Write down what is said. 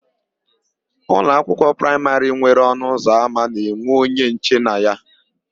Ụlọakwụkwọ praịmarị nwere ọnụụzọama na-enwe onye nche na ya.